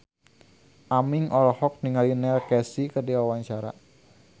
Aming olohok ningali Neil Casey keur diwawancara